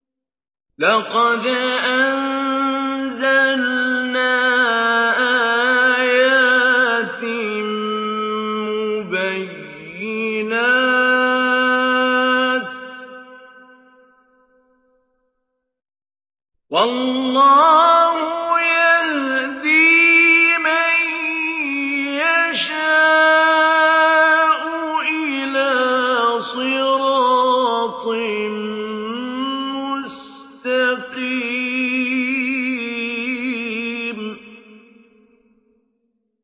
لَّقَدْ أَنزَلْنَا آيَاتٍ مُّبَيِّنَاتٍ ۚ وَاللَّهُ يَهْدِي مَن يَشَاءُ إِلَىٰ صِرَاطٍ مُّسْتَقِيمٍ